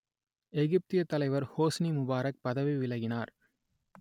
எகிப்திய அரசுத்தலைவர் Hosni Mubarak பதவி விலகினார்